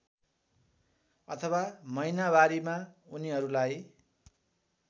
अथवा महिनावारीमा उनीहरूलाई